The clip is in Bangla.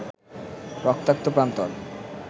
রক্তাক্ত প্রান্তর